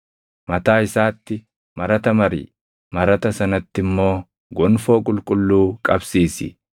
Mataa isaatti marata mari; marata sanatti immoo gonfoo qulqulluu qabsiisi.